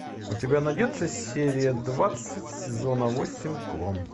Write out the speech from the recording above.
у тебя найдется серия двадцать сезона восемь клон